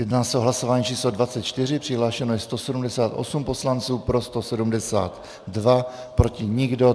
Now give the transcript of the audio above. Jedná se o hlasování číslo 24, přihlášeno je 178 poslanců, pro 172, proti nikdo.